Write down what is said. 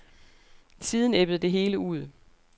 Siden ebbede det hele ud.